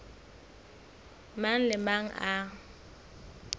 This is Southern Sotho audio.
mang le a mang a